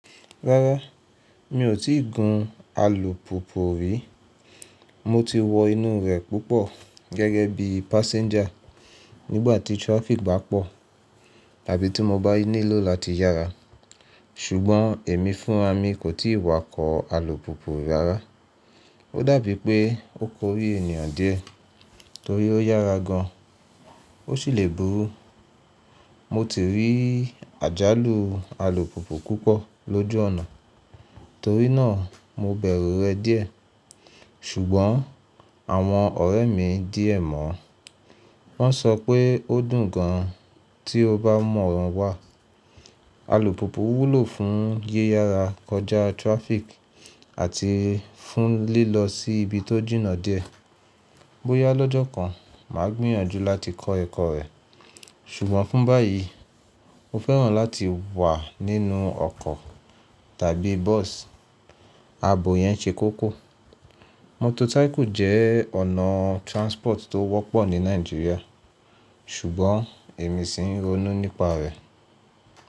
Rárá, mi ò tíì gun alùpùpù rí. Mo ti wọ inú rẹ̀ púpọ̀ gẹ́gẹ́ bí passenger nígbàtí traffic bá pọ̀ tàbí tí mo bá nílò láti yára. Ṣùgbọ́n èmi fún ra mi kò tíì wá kọ alùpùpù rárá. Ó dàbí pé ó korí ènìyàn díẹ̀ torí ó yára gan, ó sì le burú. Mo ti rí àjálù alùpùpù púpọ̀ lójú ọ̀nà, torí náà mo bẹ̀rù rẹ̀ díẹ̀. Ṣùgbọ́n àwọn ọ̀rẹ́ mi díẹ̀ mọ̀ wọ́n ṣọ pé ó dùn gan tí o bá mọ̀ wọ́n wá. Alùpùpù wúlò fún yíyára kọjá traffic àti fún lílọ sí ibi tó jìnnà díẹ̀. Bóyá lọ́jọ́ kan mà á gbìyànjú láti kọ ẹkọ rẹ̀. Ṣùgbọ́n fún báyìí, mo fẹ́ràn láti wà nínú ọkọ̀ tàbí bus. Abò yẹn ṣe kókó. Motorcycle jẹ́ ọ̀nà transport tó wọ́pọ̀ ní Nigeria, ṣùgbọ́n èmi sì ń ronú nípa rẹ̀.